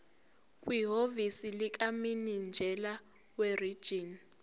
kwihhovisi likamininjela werijini